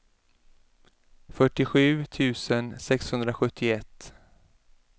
fyrtiosju tusen sexhundrasjuttioett